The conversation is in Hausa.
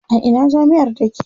A ina jami'ar take?